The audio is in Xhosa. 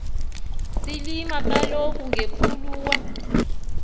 silima kaloku ngepuluwa